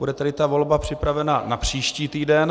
Bude tedy ta volba připravena na příští týden.